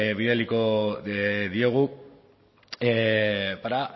bidaliko diegu para